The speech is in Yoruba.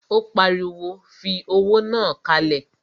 Ó pariwo, fi owó náà kalẹ̀!